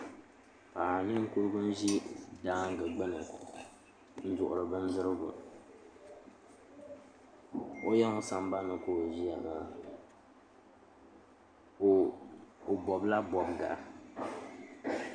Paɣa ninkurigu n ʒi daangi gbuni n duɣuri bindirigu o yiŋ sambanni ka o ʒiya maa o bobla bobga